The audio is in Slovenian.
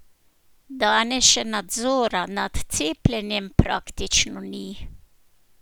Danes še nadzora nad cepljenjem praktično ni!